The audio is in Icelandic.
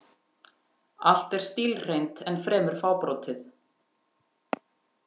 Allt er stílhreint en fremur fábrotið.